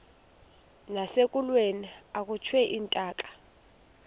nasekulweni akhutshwe intaka